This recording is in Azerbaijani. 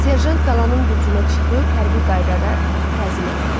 Serjant qalanın bürcünə çıxıb hərbi qaydada təzim elədi.